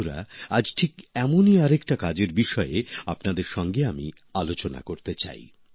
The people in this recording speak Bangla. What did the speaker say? বন্ধুরা আজ ঠিক এমনই আরেকটা কাজের বিষয়ে আপনাদের সঙ্গে আমি আলোচনা করতে চাই